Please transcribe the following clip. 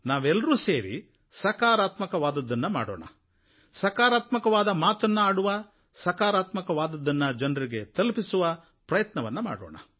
ನಾವೆಲ್ಲರೂ ಸೇರಿ ಸಕಾರಾತ್ಮಕವಾದುದ್ದನ್ನು ಮಾಡುವ ಸಕಾರಾತ್ಮಕವಾದ ಮಾತನ್ನು ಆಡುವ ಸಕಾರಾತ್ಮಕವಾದದ್ದನ್ನು ಜನರಿಗೆ ತಲುಪಿಸುವ ಪ್ರಯತ್ನವನ್ನು ಮಾಡೋಣ